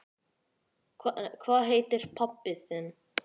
Hvað heitir pabbi þinn?